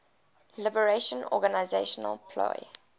liberation organization plo